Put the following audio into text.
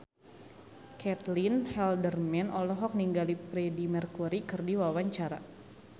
Caitlin Halderman olohok ningali Freedie Mercury keur diwawancara